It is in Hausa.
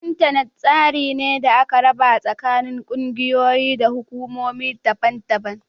Intanet tsari ne da aka raba tsakanin kungiyoyi da hukumomi daban-daban